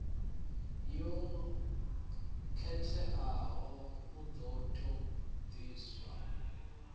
yo khetheaho u ṱo ḓisisa